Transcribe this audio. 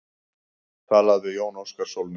Talað við Jón Óskar Sólnes.